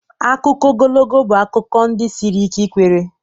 Akụkọ ogologo bụ akụkọ ndi siri ike ikwere.